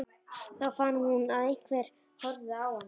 Þá fann hún að einhver horfði á hana.